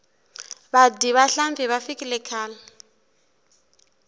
vadyi va nhlampfi va fikile khale